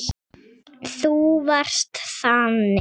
Þú varst þannig.